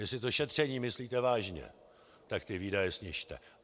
Jestli to šetření myslíte vážně, tak ty výdaje snižte.